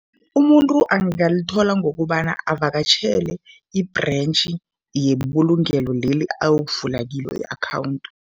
Umuntu angalithola ngokobana avakatjhele i-branch yebulungelo leli ayokuvula kilo i-akhawundi.